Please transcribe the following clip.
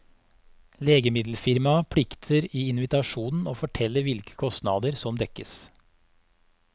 Legemiddelfirmaet plikter i invitasjonen å fortelle hvilke kostnader som dekkes.